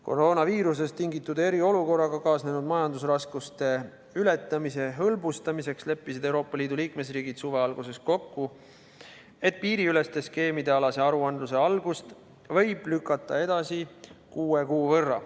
Koroonaviirusest tingitud eriolukorraga kaasnenud majandusraskuste ületamise hõlbustamiseks leppisid Euroopa Liidu liikmesriigid suve alguses kokku, et piiriüleste skeemide aruandluse algust võib edasi lükata kuue kuu võrra.